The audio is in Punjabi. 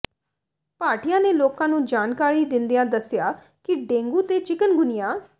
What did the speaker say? ਭਾਟੀਆ ਨੇ ਲੋਕਾਂ ਨੂੰ ਜਾਣਕਾਰੀ ਦਿੰਦਿਆਂ ਦੱਸਿਆ ਕਿ ਡੇਂਗੂ ਤੇ ਚਿਕਨਗੁਨੀਆ